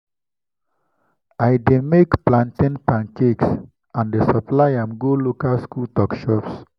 i dey make plantain pancakes and dey supply am go local school tuck shops.